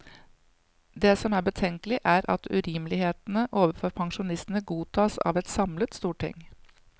Det som er betenkelig er at urimelighetene overfor pensjonistene godtas av et samlet storting.